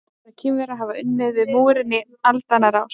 Milljónir Kínverja hafa unnið við múrinn í aldanna rás.